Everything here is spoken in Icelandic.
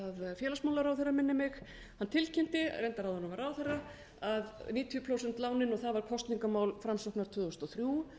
félagsmálaráðherra minnir mig hann tilkynnti reyndar áður en hann varð ráðherra að níutíu prósent lánin og það var kosningamál framsóknar tvö þúsund og þrjú